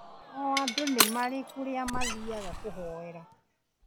O andũ nimarĩ kũrĩa mathiyaga kũhoera